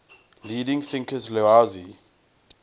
leading thinkers laozi